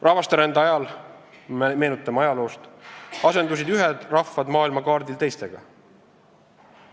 Rahvasterändamise ajal, meenutame ajalugu, asendusid ühed rahvad maailma kaardil teistega.